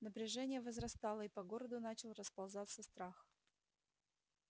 напряжение возрастало и по городу начал расползаться страх